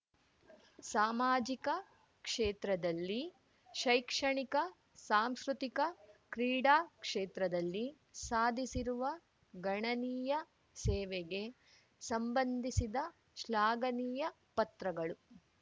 ಸಾಮಾಜಿಕ ಕ್ಷೇತ್ರದಲ್ಲಿ ಶೈಕ್ಷಣಿಕ ಸಾಂಸ್ಕೃತಿಕ ಕ್ರೀಡಾಕ್ಷೇತ್ರದಲ್ಲಿ ಸಾಧಿಸಿರುವ ಗಣನೀಯ ಸೇವೆಗೆ ಸಂಬಂಧಿಸಿದ ಶ್ಲಾಘನೀಯ ಪತ್ರಗಳು